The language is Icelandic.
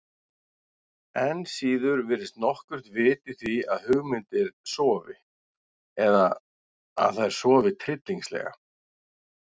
Enn síður virðist nokkurt vit í því að hugmyndir sofi, eða að þær sofi tryllingslega.